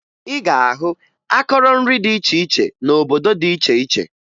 Ị ga-ahụ akọrọ nri dị iche iche n'obodo dị iche iche